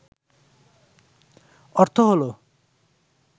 অর্থ হল